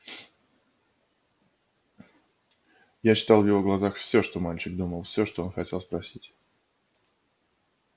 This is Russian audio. я читал в его глазах всё что мальчик думал всё что хотел спросить